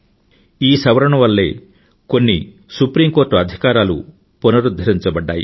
ఈ సవరణ వల్లే కొన్ని సుప్రీం కోర్టు అధికారాలు పునరుధ్ధరించబడ్డాయి